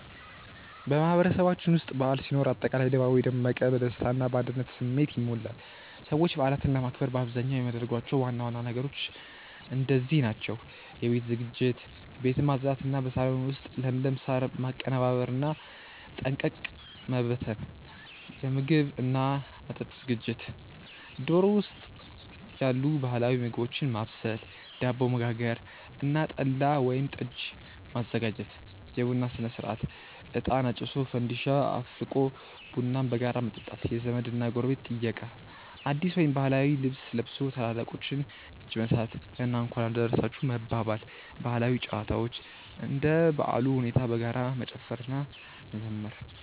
በማህበረሰባችን ውስጥ በዓል ሲኖር አጠቃላይ ድባቡ የደመቀ፣ በደስታ እና በአንድነት ስሜት ይሞላል። ሰዎች በዓላትን ለማክበር በአብዛኛው የሚያደርጓቸው ዋና ዋና ነገሮች እንደዚህ ናቸው፦ የቤት ዝግጅት፦ ቤትን ማጽዳት እና በሳሎን ውስጥ ለምለም ሳር ማቀነባበርና ጠንቀቀ መበተን። የምግብ እና መጠጥ ዝግጅት፦ ዶሮ ወጥ ያሉ ባህላዊ ምግቦችን ማብሰል፣ ዳቦ መጋገር እና ጠላ ወይም ጠጅ ማዘጋጀት። የቡና ሥነ-ሥርዓት፦ እጣን አጭሶ፣ ፋንዲሻ አፍልቆ ቡናን በጋራ መጠጣት። የዘመድ እና ጎረቤት ጥየቃ፦ አዲስ ወይም ባህላዊ ልብስ ለብሶ የታላላቆችን እጅ መንሳት እና "እንኳን አደረሳችሁ" መባባል። ባህላዊ ጨዋታዎች፦ እንደ በዓሉ ሁኔታ በጋራ መጨፈር እና መዘመር።